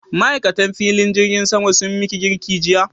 Ma'aikatan filin jirgin sama sun miki kirki jiya?